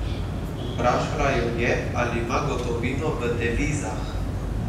Vprašala jo je, ali ima gotovino v devizah.